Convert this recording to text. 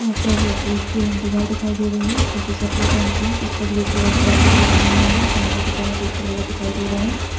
यहां पर एक दीवार दिखाई दे रही हैं। जो की सफेद रंग कि हैं। जिसपे ग्रे कलर से आकृति बनी हुई हैं। सामने की तरफ एक दरवाजा दिखाई दे रहा हैं।